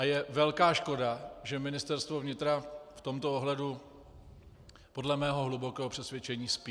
A je velká škoda, že Ministerstvo vnitra v tomto ohledu podle mého hlubokého přesvědčení spí.